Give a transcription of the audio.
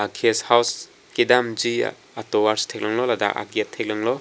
guest house kedamji atovar si theklonglo ladak agate theklonglo.